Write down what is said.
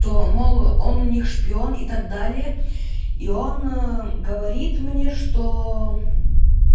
то мол он у них шпион и так далее и он говорит мне что